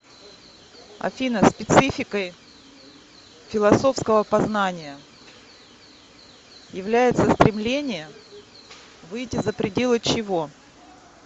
афина спецификой философского познания является стремление выйти за пределы чего